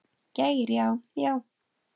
Geir Já, já.